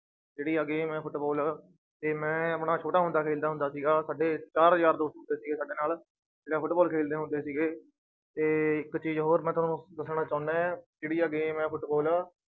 ਜਿਹੜੀ ਆਹ game ਹੈ ਫੁਟਬਾਲ, ਤੇ ਮੈਂ ਆਪਣਾ ਛੋਟਾ ਹੁੰਦਾ ਖੇਲਦਾ ਹੁੰਦਾ ਸੀਗਾ ਸਾਡੇ ਚਾਰ ਯਾਰ ਦੋਸਤ ਹੁੰਦੇ ਸੀਗੇ ਸਾਡੇ ਨਾਲ ਫੁਟਬਾਲ ਖੇਲਦੇ ਹੁੰਦੇ ਸੀਗੇ ਤੇ ਇੱਕ ਚੀਜ਼ ਹੋਰ ਮੈ ਤੁਹਾਨੂੰ ਦੱਸਣਾ ਚਾਹੁਨਾ ਹੈ ਜਿਹੜੀ ਆਹ game ਹੈ ਫੁਟਬਾਲ